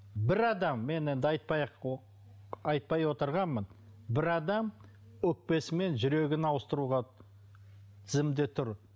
бір адам мен енді айтпай ақ айтпай отырғанмын бір адам өкпесі мен жүрегін ауыстыруға тізімде тұр